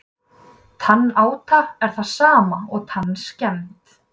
Tannáta er það sama og tannskemmd.